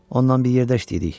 Ondan bir yerdəyik.